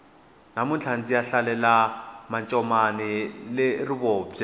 namuntlha ndziya hlalela mancomani le rivubye